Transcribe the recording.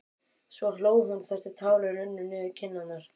Svo hló hún þar til tárin runnu niður kinnarnar.